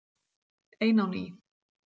Ein á ný.